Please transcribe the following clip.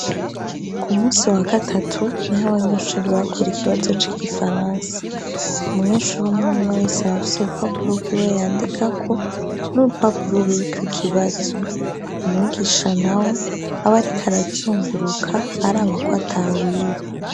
Ku munsi wa gatatu niho abanyeshuri bakora ikibazo c' Igifaransa. Umyeshure umwe umwe wese aba afise urupapuro rwiwe yandikako n'urupapuro ruriko ikibazo. Umwigisha nawe aba ariko arazunguruka araba ko atawiba.